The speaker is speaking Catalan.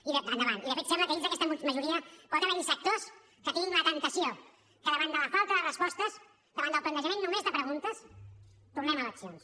i de fet sembla que dins d’aquesta majoria pot haver hi sectors que tinguin la temptació que davant de la falta de respostes davant del plantejament només de preguntes tornem a eleccions